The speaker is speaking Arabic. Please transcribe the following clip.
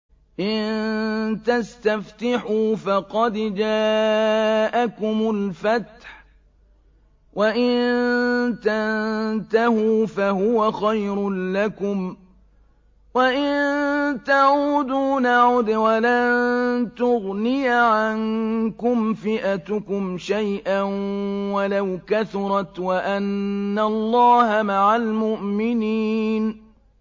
إِن تَسْتَفْتِحُوا فَقَدْ جَاءَكُمُ الْفَتْحُ ۖ وَإِن تَنتَهُوا فَهُوَ خَيْرٌ لَّكُمْ ۖ وَإِن تَعُودُوا نَعُدْ وَلَن تُغْنِيَ عَنكُمْ فِئَتُكُمْ شَيْئًا وَلَوْ كَثُرَتْ وَأَنَّ اللَّهَ مَعَ الْمُؤْمِنِينَ